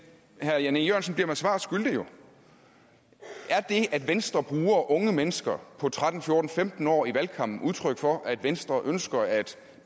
herre jan e jørgensen bliver mig svar skyldig er det at venstre bruger unge mennesker på tretten fjorten femten år i valgkampen udtryk for at venstre ønsker at